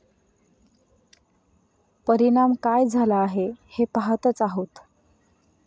परिणाम काय झाला आहे हे पहातच आहोत.